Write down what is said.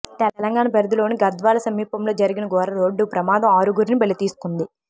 తెలంగాణ పరిధిలోని గద్వాల సమీపంలో జరిగిన ఘోర రోడ్డు ప్రమాదం ఆరుగురిని బలితీసుకుంది